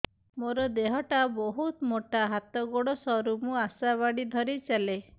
ମୋର ଦେହ ଟା ବହୁତ ମୋଟା ହାତ ଗୋଡ଼ ସରୁ ମୁ ଆଶା ବାଡ଼ି ଧରି ଚାଲେ